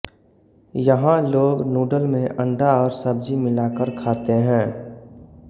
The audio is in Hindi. यहाँ लोग नूडल में अंडा और सब्जी मिलाकर खाते हैं